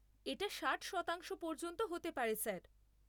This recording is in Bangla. এটা ষাট শতাংশ পর্যন্ত হতে পারে স্যার।